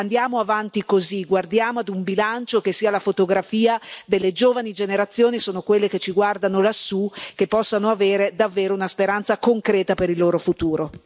Andiamo avanti così, guardiamo ad un bilancio che sia la fotografia delle giovani generazioni e sono quelle che ci guardano lassù, che possano avere davvero una speranza concreta per il loro futuro.